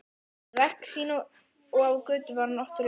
Við verk sín og á götu var hann oft raulandi.